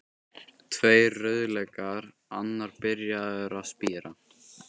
Tveir rauðlaukar, annar byrjaður að spíra.